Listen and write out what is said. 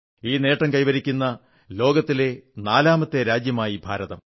ഈ നേട്ടം കൈവരിക്കുന്ന ലോകത്തിലെ നാലാമത്തെ രാജ്യമായി ഭാരതം